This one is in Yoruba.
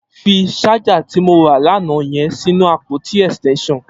Fi ṣàjá ti mó rà lànà yèn sinú ápótí ẹstẹnṣọn